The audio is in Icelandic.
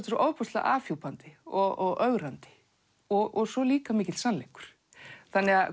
svo ofboðslega afhjúpandi og ögrandi og svo líka mikill sannleikur þannig að